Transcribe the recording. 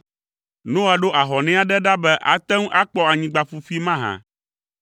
Noa ɖo ahɔnɛ aɖe ɖa be ate ŋu akpɔ anyigba ƒuƒui mahã.